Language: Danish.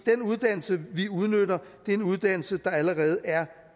den uddannelse vi udnytter er en uddannelse der allerede er